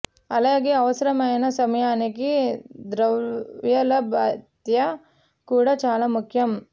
అలాగే అవసరమైన సమయానికి ద్రవ్యలభ్యత కూడా చాలా ముఖ్యం